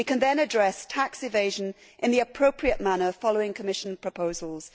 We can then address tax evasion in the appropriate manner following Commission proposals.